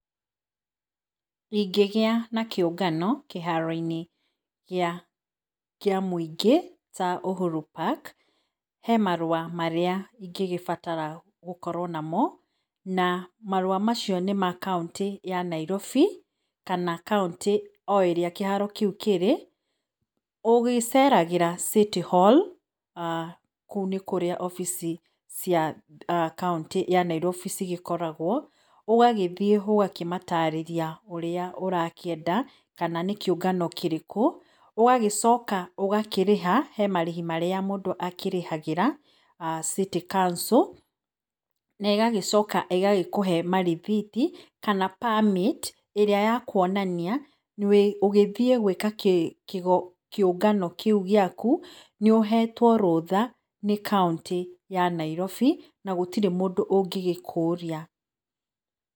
Ĩngĩgĩa na kĩũngano kĩharo-inĩ kĩa mũingĩ ta uhuru park, he marũa marĩa bataraga gũkorwo namo na marũa macio nĩ makauntĩ ya Nairobi kana kauntĩ o ĩrĩa kĩharo kĩu kĩrĩ. Ũgĩceragĩra city hall kũu nĩ kũrĩa obici cia kauntĩ ya nairobi cigĩkoragwo, ũgagĩthiĩ ũgakĩmatarĩria ũrĩa ũrakĩenda kana nĩ kĩũngano kĩrĩkũ, ũgagĩcoka ũgakĩrĩha, he marĩhi marĩa mũndũ akĩrĩhagĩra [aah]city council, naĩgagĩcoka ĩgakũhe marĩthiti kana permit ĩrĩa yakwonania ũgĩthiĩ gwĩka kĩũngano kĩu gĩa ku nĩũhetwo rũtha nĩ kauntĩ ya Nairobi na gũtirĩ mũndũ ũngĩgũkũria.